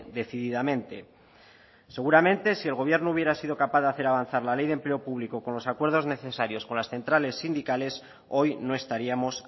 decididamente seguramente si el gobierno hubiera sido capaz de hacer avanzar la ley de empleo público con los acuerdos necesarios con las centrales sindicales hoy no estaríamos